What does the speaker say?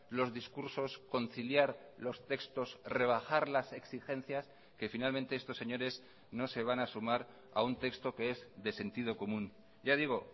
los discursos conciliar los textos rebajar las exigencias que finalmente estos señores no se van a sumar a un texto que es de sentido común ya digo